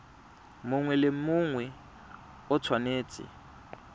mongwe le mongwe o tshwanetse